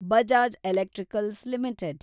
Bajaj electricals limited